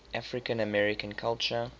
african american culture